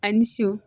A ni so